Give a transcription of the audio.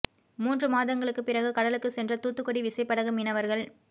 மூன்று மாதங்களுக்குப் பிறகு கடலுக்குச் சென்ற தூத்துக்குடி விசைப்படகு மீனவர்கள்